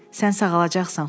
Sən sağalacaqsan.